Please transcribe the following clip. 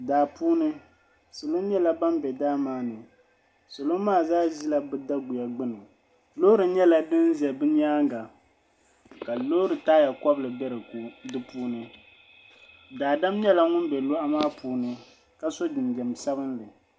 Daa puuni salo nyɛla ban bɛ daa maa ni salo maa zaa ʒila bi daguya gbuni loori nyɛla din ʒɛ bi nyaanga ka loori taaya kobili bɛ di puuni daadam nyɛla ŋun bɛ loɣu maa puuni ka so jinjɛm sabinli